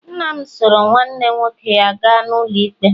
nna m soro nwanne nwoke ya gaa n'ụlọikpe